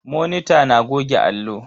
Monita na goge allo.